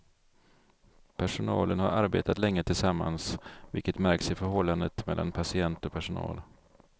Personalen har arbetat länge tillsammans, vilket märks i förhållandet mellan patient och personal.